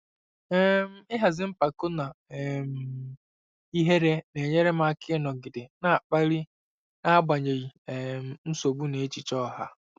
um Ịhazi mpako na um ihere na-enyere m aka ịnọgide na-akpali n'agbanyeghị um nsogbu na echiche ọha.